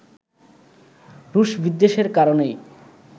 রুশ বিদ্বেষের কারণেই